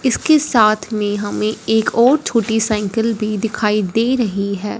इसके साथ में हमें एक और छोटी साइकल भी दिखाई दे रही है।